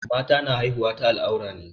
Mata na haihuwa ta al'aurar ne.